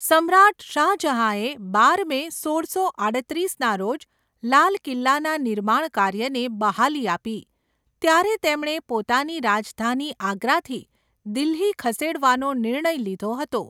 સમ્રાટ શાહજહાંએ બાર મે, સોળસો આડત્રીસના રોજ લાલ કિલ્લાના નિર્માણ કાર્યને બહાલી આપી ત્યારે તેમણે પોતાની રાજધાની આગ્રાથી દિલ્હી ખસેડવાનો નિર્ણય લીધો હતો.